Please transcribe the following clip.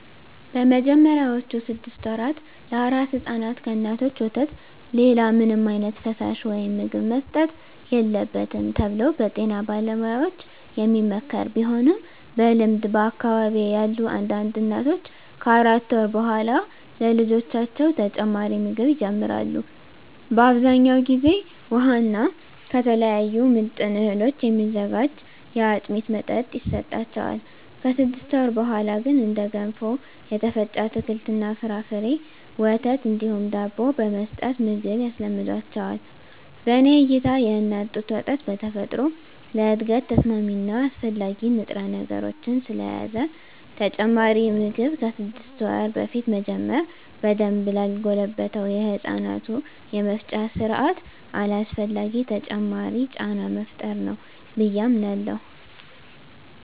በመጀመሪያዎቹ ስድስት ወራ ለአራስ ሕፃናት ከእናቶች ወተት ሌላ ምንም ዓይነት ፈሳሽ ወይም ምግብ መሰጠት የለበትም ተብሎ በጤና ባለሙያዎች የሚመከር ቢሆንም በልምድ በአካባቢየ ያሉ አንዳንድ እናቶች ከአራት ወር በኃላ ለልጆቻቸው ተጨማሪ ምግብ ይጀምራሉ። በአብዛኛው ጊዜ ውሃ እና ከተለያዩ ምጥን እህሎች የሚዘጋጅ የአጥሚት መጠጥ ይሰጣቸዋል። ከስድስት ወር በኀላ ግን እንደ ገንፎ፣ የተፈጨ አትክልት እና ፍራፍሬ፣ ወተት እንዲሁም ዳቦ በመስጠት ምግብ ያስለምዷቸዋል። በኔ እይታ የእናት ጡት ወተት በተፈጥሮ ለእድገት ተስማሚ እና አስፈላጊ ንጥረነገሮችን ስለያዘ ተጨማሪ ምግብ ከስድስት ወር በፊት መጀመር በደንብ ላልጎለበተው የህፃናቱ የመፍጫ ስርአት አላስፈላጊ ተጨማሪ ጫና መፍጠር ነው ብየ አምናለሁ።